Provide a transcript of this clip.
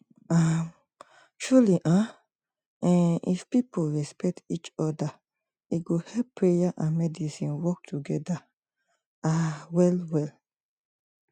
um truely um eeh if people respect each oda e go help prayer and medicine work togeda ah well well